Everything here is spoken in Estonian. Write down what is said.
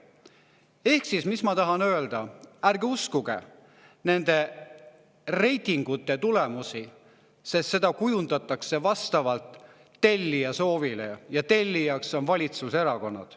Ehk siis, mis ma tahan öelda, on see, et ärge uskuge nende reitingute tulemusi, sest neid kujundatakse vastavalt tellija soovile, ja tellijaks on valitsuserakonnad.